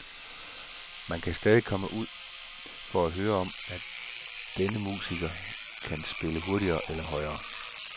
Man kan stadig komme ud for at høre om, at denne musiker kan spille hurtigere eller højere.